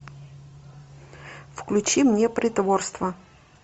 включи мне притворство